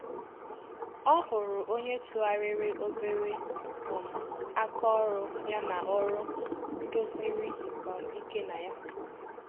Ọ hụrụ onye tụgharịrị òbèrè um aka ọrụ ya ná òrụ́ kwụdo sịrị um íké na ànyà